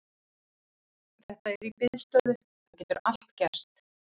Þetta er í biðstöðu, það getur allt gerst.